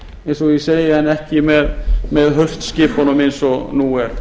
eins og ég segi en ekki með haustskipunum eins og nú er